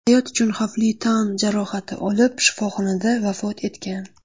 hayot uchun xavfli tan jarohati olib, shifoxonada vafot etgan.